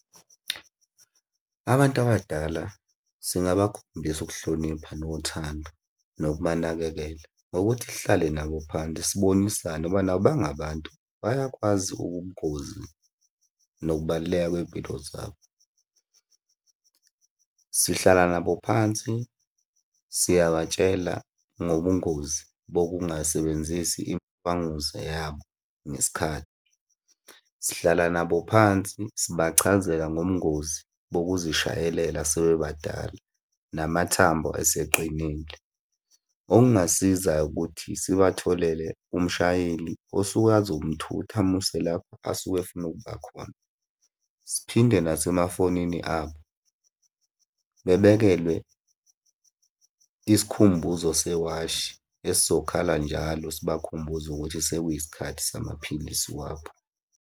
Abantu abadala singabakhombisa ukuhlonipha nothando nokubanakekela ngokuthi sihlale nabo phansi sibonisane, ngoba nabo bangabantu, bayakwazi ubungozi nokubaluleka kwey'mpilo zabo. Sihlala nabo phansi, siyabatshela ngobungozi bokungasebenzisi imishanguze yabo ngesikhathi. Sihlala nabo phansi, sibachazela ngobungozi bokuzishayelela sebebadala namathambo esiqinile. Okungasiza-ke ukuthi sibatholele umshayeli osuke azomuthutha amuse lapho asuke efuna ukuba khona. Siphinde nasemafonini abo, bebekelwe isikhumbuzo sewashi esizokhala njalo sibakhumbuza ukuthi sekuyisikhathi samaphilisi wabo.